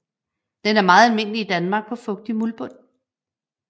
Den er meget almindelig i Danmark på fugtig muldbund